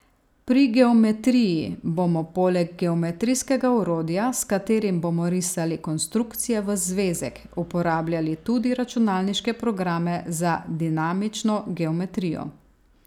Pri geometriji bomo poleg geometrijskega orodja, s katerim bomo risali konstrukcije v zvezek, uporabljali tudi računalniške programe za dinamično geometrijo.